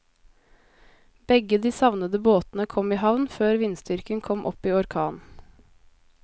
Begge de savnede båtene kom i havn før vindstyrken kom opp i orkan.